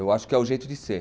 Eu acho que é o jeito de ser.